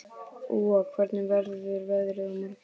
Úa, hvernig verður veðrið á morgun?